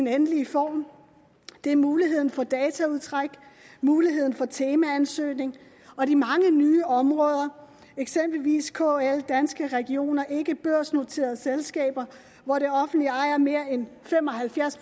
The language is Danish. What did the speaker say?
endelig form det er muligheden for dataudtræk muligheden for temaansøgning og de mange nye områder eksempelvis kl danske regioner ikkebørsnoterede selskaber hvor det offentlige ejer mere end fem og halvfjerds